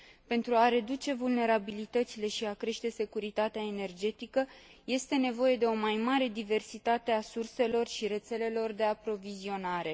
Pentru a reduce vulnerabilitățile și a crește securitatea energetică, este nevoie de o mai mare diversitate a surselor și rețelelor de aprovizionare.